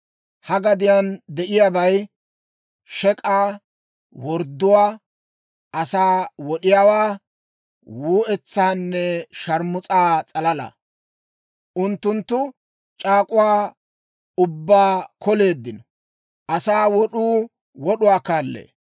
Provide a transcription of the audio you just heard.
Ha gadiyaan de'iyaabay shek'aa, wordduwaa, asaa wod'iyaawaa, wuu"etsaanne sharmus'a s'alalaa. Unttunttu c'aak'uwaa ubbaa koleeddinno; asaa wod'uu wod'uwaa kaallee.